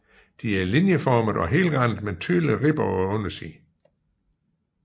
De er linjeformede og helrandede med tydelige ribber på undersiden